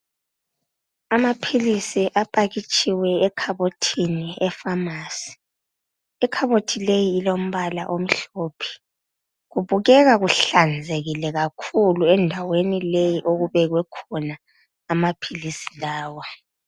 Amaphilisi apakitshiwe ekhabothini epharmacy .I khabothi leyi ilombala omhlophe. Kubukeka kuhlanzekile kakhulu endaweni leyi okubekwe khona amaphilisi lawa.